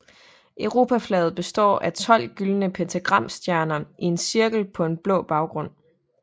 Europaflaget består af 12 gyldne pentagramstjerner i en cirkel på en blå baggrund